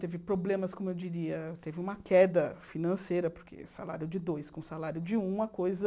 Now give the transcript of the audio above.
Teve problemas, como eu diria, teve uma queda financeira, porque salário de dois com salário de um, a coisa...